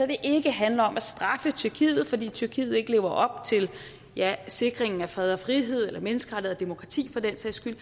det ikke handler om at straffe tyrkiet fordi tyrkiet ikke lever op til sikringen af fred og frihed eller menneskerettigheder og demokrati for den sags skyld